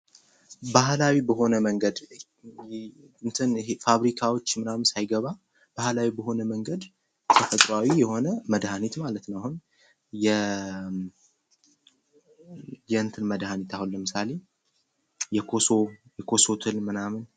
ባህላዊ በሆነ መንገድ ፋብሪካዎች ምናምን ሳይገባ ባህላዊ በሆነ መንገድ ተፈጥሯዊ የሆነ መድሀኒት ማለት ነው ። የእንትን መድሃኒት አሁን ለምሳሌ የኮሶ ትል ምናምን